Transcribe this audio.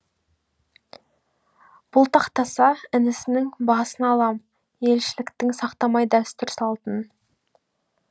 бұлтақтаса інісінің басын алам елшіліктің сақтамай дәстүр салтын